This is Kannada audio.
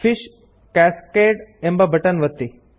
ಫಿಶ್ ಕ್ಯಾಸ್ಕೇಡ್ ಎಂಬ ಬಟನ್ ಒತ್ತಿ